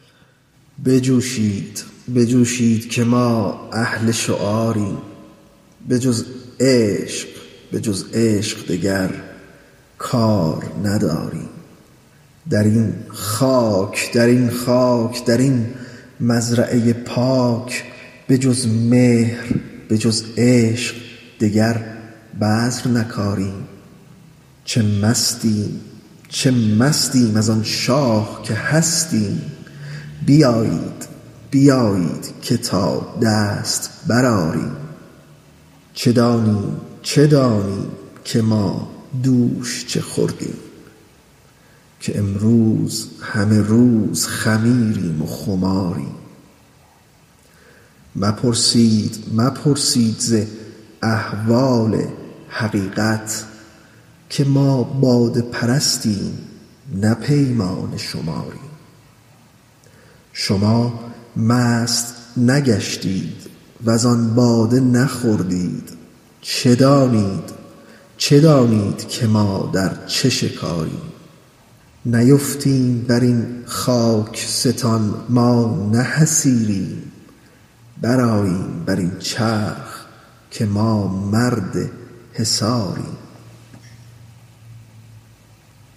بجوشید بجوشید که ما اهل شعاریم بجز عشق به جز عشق دگر کار نداریم در این خاک در این خاک در این مزرعه پاک به جز مهر به جز عشق دگر تخم نکاریم چه مستیم چه مستیم از آن شاه که هستیم بیایید بیایید که تا دست برآریم چه دانیم چه دانیم که ما دوش چه خوردیم که امروز همه روز خمیریم و خماریم مپرسید مپرسید ز احوال حقیقت که ما باده پرستیم نه پیمانه شماریم شما مست نگشتید وزان باده نخوردید چه دانید چه دانید که ما در چه شکاریم نیفتیم بر این خاک ستان ما نه حصیریم برآییم بر این چرخ که ما مرد حصاریم